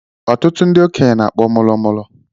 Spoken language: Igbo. Ụtụtu ndị okenye na-akpọ mọlọmọlọ